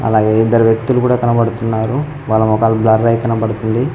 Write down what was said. అలాగే ఇద్దరు వ్యక్తులు కూడా కనబడుతున్నారు వాళ్ళ మొఖాలు బ్లర్ అయి కనబడుతుంది.